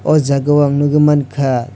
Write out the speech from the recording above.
aww jaaga o ang nugui manka.